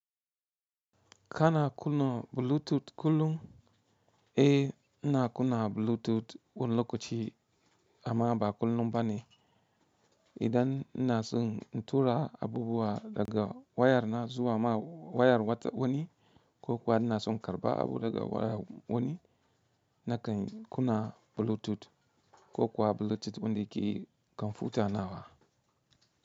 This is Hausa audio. Ka na kuna Bluetooth kullum? Eh, ina kuna Bluetooth wani lokaci amma ba kullum ba ne. Idan ina son tura abubuwa daga wayar na zuwa ma wayar wani ko kuwa ina son karɓa abu daga wayar wani na kan kuna Bluetooth ko kuwa Bluetooth wanda ke kwamfuta na wa.